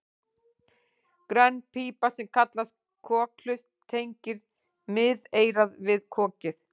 Grönn pípa sem kallast kokhlust tengir miðeyrað við kokið.